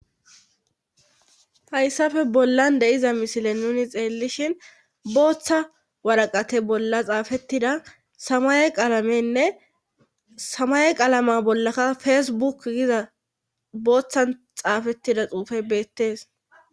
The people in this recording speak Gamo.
hayssafe bollan de'iza mishile nuni xeellishin booththa waraqate bolla xaafettida samaye qaalamenne samaye qaalama bollaka fesebuk giza booththan xaafettida xuufe beettees